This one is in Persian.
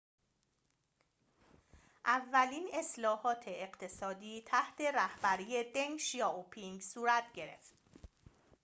اولین اصلاحات اقتصادی تحت رهبری دنگ شیائوپینگ صورت گرفت